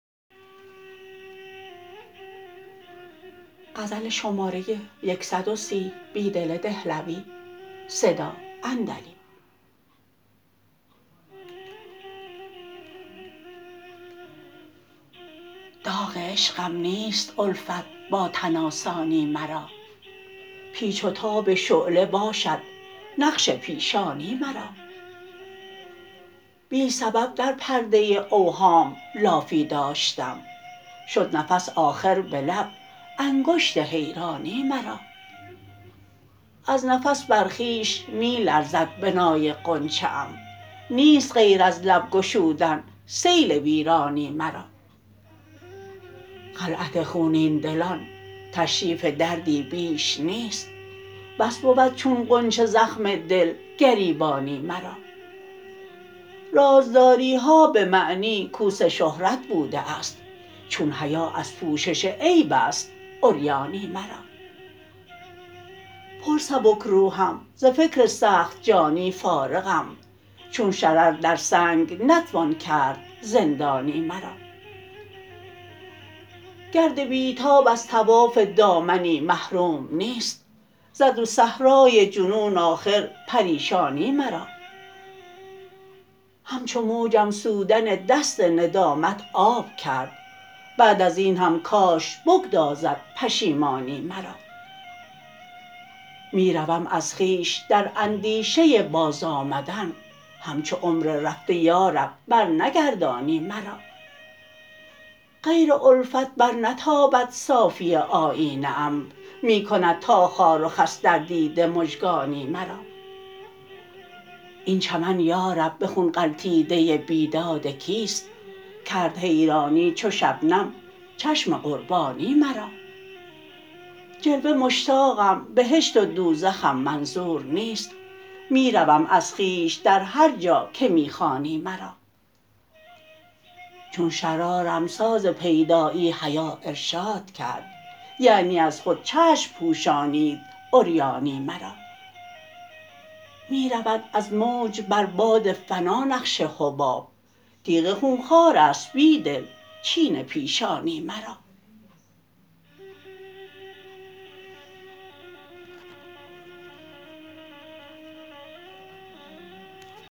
داغ عشقم نیست الفت با تن آسانی مرا پیچ وتاب شعله باشد نقش پیشانی مرا بی سبب در پرده اوهام لافی داشتم شد نفس آخربه لب انگشت حیرانی مرا از نفس بر خویش می لرزد بنای غنچه ام نیست غیر از لب گشودن سیل ویرانی مرا خلعت خونین دلان تشریف دردی بیش نیست بس بود چون غنچه زخم دل گریبانی مرا رازداریها به معنی کوس شهرت بوده است چون حیا ازپوشش عیب است عریانی مرا پر سبکروحم زفکر سخت جانی فارغم چون شرر در سنگ نتوان کرد زندانی مرا گرد بیتاب از طواف دامنی محروم نیست زد به صحرای جنون آخرپریشانی مرا همچو موجم سودن دست ندامت آب کرد بعد ازین هم کاش بگدازد پشیمانی مرا می روم از خویش در اندیشه باز آمدن همچو عمر رفته یارب برنگردانی مرا غیر الفت برنتابد صافی آیینه ام می کند تا خار و خس در دیده مژگانی مرا این چمن یارب به خون غلتیده بیدادکیست کرد حیرانی چوشبنم چشم قربانی مرا جلوه مشتاقم بهشت ودوزخم منظورنیست می روم از خویش در هرجاکه می خوانی مرا چون شرارم ساز پیدایی حیا ارشادکرد یعنی از خود چشم پوشانید عریانی مرا می رود از موج بر باد فنا نقش حباب تیغ خونخوارست بیدل چین پیشانی مرا